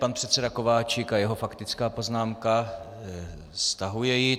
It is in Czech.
Pan předseda Kováčik a jeho faktická poznámka - stahuje ji.